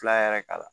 Fila yɛrɛ k'a la